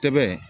Tɛ bɛ